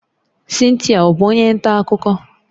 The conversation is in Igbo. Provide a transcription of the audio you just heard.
Cynthia ọ bụ onye nta akụkọ?